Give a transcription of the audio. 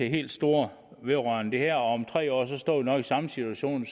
helt store vedrørende det her og om tre år står vi nok i samme situation